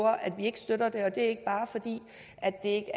at vi ikke støtter det og det er ikke